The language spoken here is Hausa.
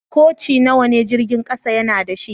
Koci nawa ne jirigin kasan ya na da shi?